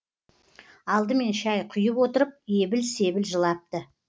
алдымен шәй құйып отырып ебіл себіл жылапты